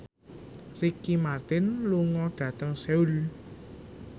Ricky Martin lunga dhateng Seoul